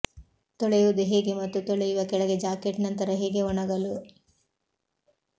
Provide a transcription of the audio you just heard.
ತೊಳೆಯುವುದು ಹೇಗೆ ಮತ್ತು ತೊಳೆಯುವ ಕೆಳಗೆ ಜಾಕೆಟ್ ನಂತರ ಹೇಗೆ ಒಣಗಲು